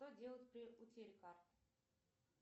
что делать при утере карты